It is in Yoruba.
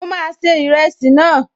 Mo máa se ìrẹsì náà